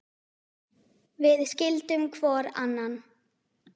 Við skildum hvor annan.